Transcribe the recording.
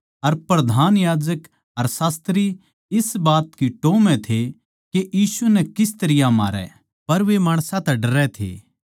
अर प्रधान याजक अर शास्त्री इस बात की टोह् म्ह थे के यीशु नै किस तरियां मारै पर वे माणसां ते डरै थे